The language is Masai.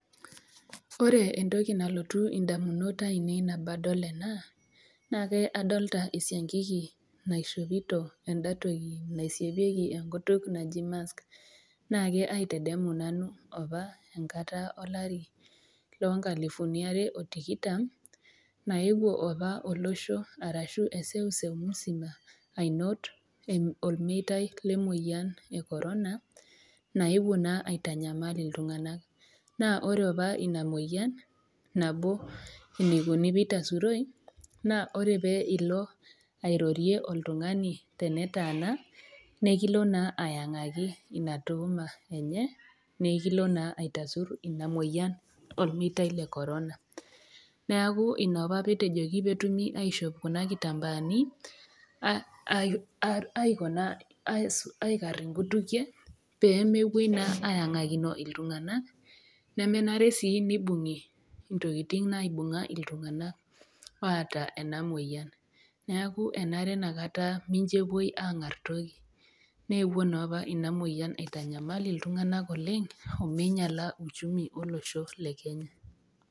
Ore entoki nalotu indamunot aainei nabo adol ena, naake adolita esiankiki naishopito enda toki naisiepieki enkutuk naji mask. Naake aitedemu nanu opa enkata olari loo nkalifuni Are o tikitam, naewuo opa olosho, arashu eseuseu musima ainot olmeitai le moyian e korona, naewuo naa aitanyamal iltung'ana, naa ore opa ina moyian nabo eneikuni pee eitasuroi, naa ore pee ilo airorie oltung'ani, tenetaana nekilo naa aiyang'aki Ina tuuma enye, nekilo naa aitasur Ina moyian olmeitai le korona. Neaku Ina opa pee etejoki pee etumi aishopo Kuna kitambaani aikar naa inkutikie, pee mepuoi naa aiyang'akino iltung'ana, nemenare sii neibung'i intokitin naibunga iltung'ana oata ena moyian , neaku enare Ina kata pee mepuoi aangar toki, neewuo naa opa inaoyian aitanyamal iltung'ana oleng' omeinyala uchumi olosho le Kenya.